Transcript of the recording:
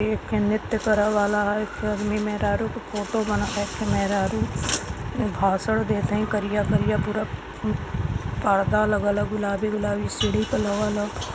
करे वाला ह। ये मेहरारू का फोटो बनल ह एक ठे मेहरारू भाषण देत हई करिया करिया पूरा पर्दा लगल ह गुलाबी-गुलाबी पर सीढ़ी लगल ह।